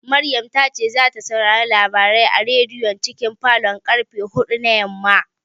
Maryam ta ce zata saurari labarai a rediyon cikin falon karfe huɗu na yamma